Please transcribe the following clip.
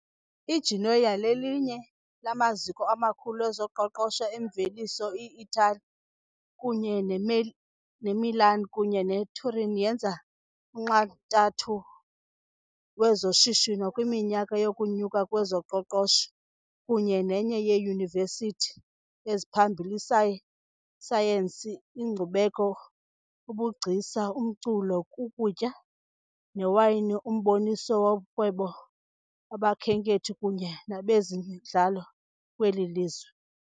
IGenoa lelinye lamaziko amakhulu ezoqoqosho - emveliso eItali kunye neMilan kunye neTurin yenza unxantathu wezoshishino kwiminyaka yokunyuka kwezoqoqosho, kunye nenye yeyunivesithi eziphambili, isayensi, inkcubeko, ubugcisa, umculo, ukutya newayini, umboniso worhwebo, abakhenkethi kunye nabezemidlalo kweli lizwe.